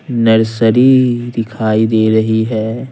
Nursery दिखाई दे रही है।